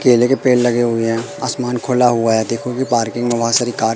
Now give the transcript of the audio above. केले के पेड़ लगे हुए हैं आसमान खुला हुआ है देखोगे पार्किंग में बहोत सारी कार --